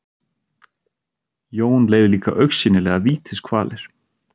Jón leið líka augsýnilega vítiskvalir.